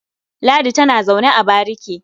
Ladi tana zaune a bariki.